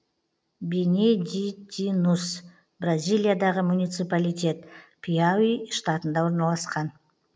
бенедитинус бразилиядағы муниципалитет пиауи штатында орналасқан